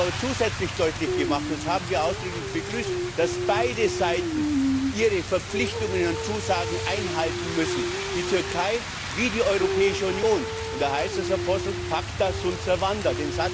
Sie haben aber zusätzlich deutlich gemacht das haben wir ausdrücklich begrüßt dass beide Seiten ihre Verpflichtungen und Zusagen einhalten müssen die Türkei wie die Europäische Union. Da heißt es, Herr Posselt, pacta sunt servanda